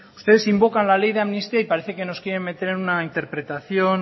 ustedes invocan la ley de amnistía y parece que nos quiere meter una interpretación